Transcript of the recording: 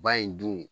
Ba in dun